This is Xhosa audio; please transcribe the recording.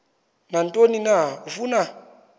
nantoni na afuna